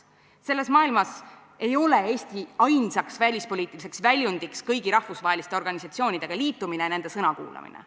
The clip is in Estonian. Selles maailmas ei ole Eesti ainsaks välispoliitiliseks väljundiks kõigi rahvusvaheliste organisatsioonidega liitumine ja nende sõna kuulamine.